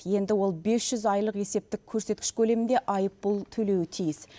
енді ол бес жүз айлық есептік көрсеткіш көлемінде айыппұл төлеуі тиіс